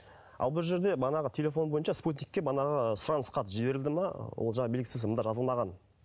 ал бұл жерде манағы телефон бойынша спутникке манағы сұраныс хат жіберілді ме ол жағы белгісіз мұнда жазылмаған